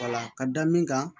ka da min kan